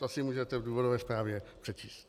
To si můžete v důvodové zprávě přečíst.